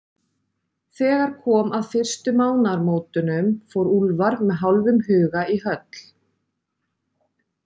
Þegar kom að fyrstu mánaðamótunum, fór Úlfar með hálfum huga í höll